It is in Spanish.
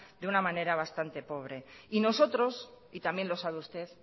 de una manera bastante pobre y nosotros y también lo sabe usted